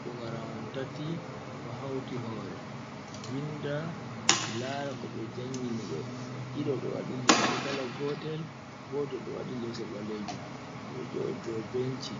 Pugara on tati ɗo hauti hore vinda lara koɓe jangini ɓe ɗiɗo ɗo wadi limse kala gotel, goto ɗo waɗi limse baleju ɓeɗo joɗi dow benci